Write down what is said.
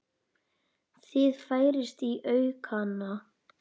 Það færist í aukana.